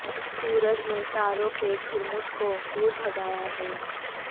سورج نے تاروں کے جھرمٹ کو دور بھگایا ہے